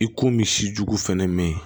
I ko min si jugu fɛnɛ mi ye